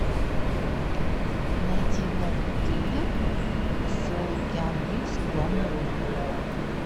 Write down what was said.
найди новый триллер с киану ривз в главной роли